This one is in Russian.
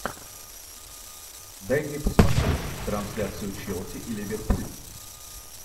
дай мне посмотреть трансляцию челси и ливерпуль